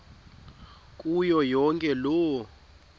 kuyo yonke loo